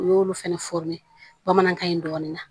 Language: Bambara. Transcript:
U y'olu fɛnɛ bamanankan in dɔɔnin